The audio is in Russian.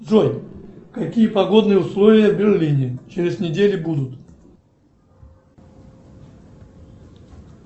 джой какие погодные условия в берлине через неделю будут